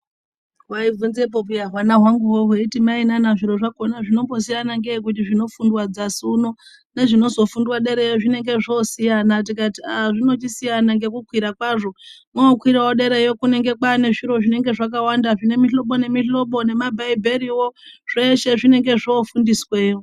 Hwaibvunzepo pheya hwana hwanguhwo, heeiti mainana zviro zvakhona zvinombosiyana ngei kuti zvinofundwa dzasi uno nezvinozofundwa dereyo zvinenge zvoosiyana. Tikati ah zvinochisiyana ngekukwira kwazvo mookwirawo derayo kunenge kwaane zviro zvinenge zvakawanda zvine mihlobo nemihlobo nemabhaibheriwo zveshe zvinenge zvoofundisweyo.